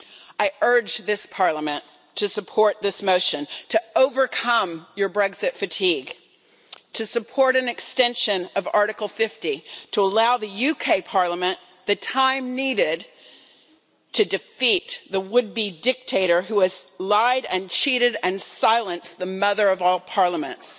I urge this Parliament to support the motion, to overcome your Brexit fatigue, to support an extension of Article 50 to allow the UK Parliament the time needed to defeat the would be dictator who has lied and cheated and silenced the mother of all parliaments.